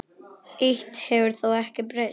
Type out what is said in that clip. Eitt hefur þó ekki breyst.